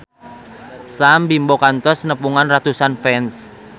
Sam Bimbo kantos nepungan ratusan fans